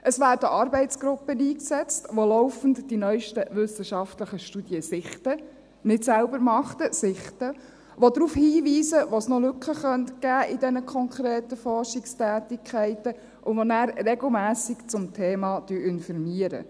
Es werden Arbeitsgruppen eingesetzt, die laufend die neusten wissenschaftlichen Studien sichten – nicht selber machen, sondern sichten –, die darauf hinweisen, wo es in diesen konkreten Forschungstätigkeiten noch Lücken geben könnte, und die nachher regelmässig zum Thema informieren.